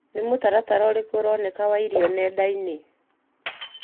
Nĩ mũtaratara ũrĩkũ ũronekana wa irio nenda-ini.